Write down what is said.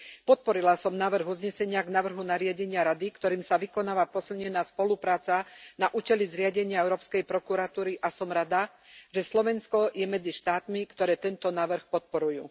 Podporila som návrh uznesenia k návrhu nariadenia Rady, ktorým sa vykonáva posilnená spolupráca na účely zriadenia Európskej prokuratúry, a som rada, že Slovensko je medzi štátmi, ktoré tento návrh podporujú.